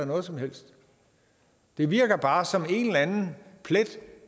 noget som helst det virker bare som en eller anden plet